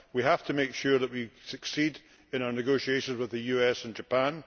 We have to make sure that we succeed in our negotiations with the US and Japan